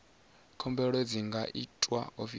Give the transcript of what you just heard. khumbelo dzi nga itwa ofisini